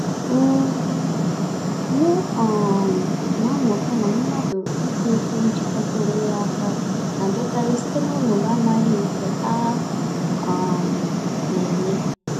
um M um na-amụta na mmadụ ito-eto njikọta onwe ya áká, na-abịakarị site n'ọnọdụ amaghị nke a um némè'.